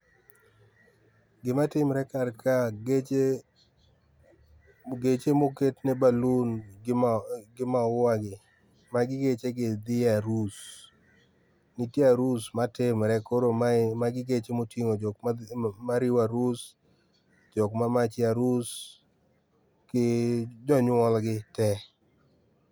Gima timre kar ka, geche geche moketne balloon gi maua gi, magi geche gi thi e arus. Nitie arus matimre. Koro mae magii geche moting'o jok ma dhi ma riwo arus, jok ma march e arus, gi jonyuol gi tee.